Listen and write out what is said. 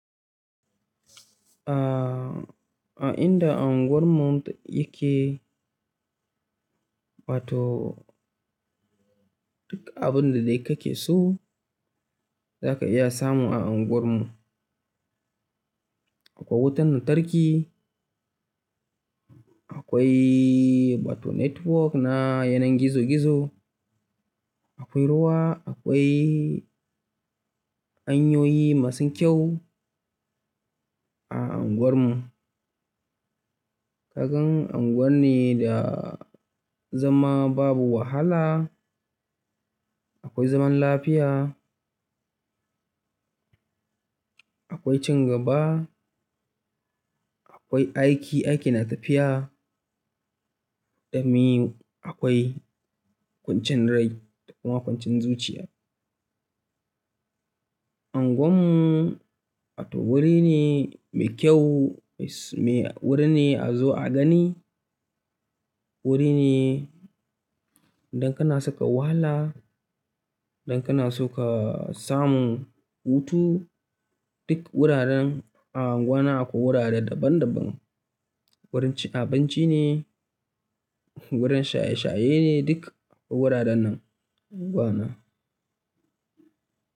A inda anguwar mu yake, duk abun da dai kake so zaka iya samu a anguwar mu. Akwai wutan lantarki, akwai network na yanar gizo gizo, akwai ruwa, akwai hanyoyi masu kyau a anguwar mu. Ka gan anguwa ne da zama babu wahala. Akwai zaman lafiya, akwai cin gaba, akwai aiki, aiki na tafiya, dami akwai kwancin rai da kuma kwancin zuciya. Unguwar mu, wuri ne mai kyau, mai wuri ne a zo a gani, wuri ne idan kana so ka wahala, idan kana so ka samu hutu, duk wuraren a unguwana akwai wurare daban daban. Wurin abinci ne, wurin shaye shaye ne duk wuraren nan unguwana.